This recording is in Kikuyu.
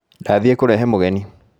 Ndathiĩ kũrehe mũgeni